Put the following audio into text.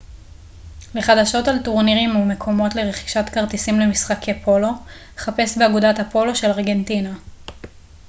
לחדשות על טורנירים ומקומות לרכישת כרטיסים למשחקי פולו חפש באגודת הפולו של ארגנטינה